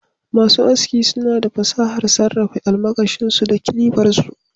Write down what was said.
Masu aski suna da fasahar sarrafa almakashin su da kilifar su